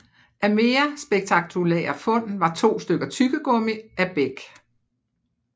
Af mere spektakulære fund var to stykker tyggegummi af beg